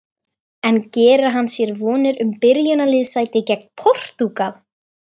En gerir hann sér vonir um byrjunarliðssæti gegn Portúgal?